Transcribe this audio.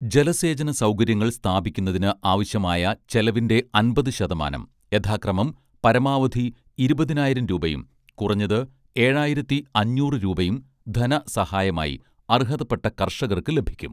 ജലസേചന സൗകര്യങ്ങൾ സ്ഥാപിക്കുന്നതിന് ആവശ്യമായ ചെലവിന്റെ അൻപതു ശതമാനം യഥാക്രമം പരമാവധി ഇരുപതിനായിരം രൂപയും കുറഞ്ഞത് ഏഴായിരത്തി അഞ്ഞൂറ് രൂപയും ധന സഹായമായി അർഹതപ്പെട്ട കർഷകർക്ക് ലഭിക്കും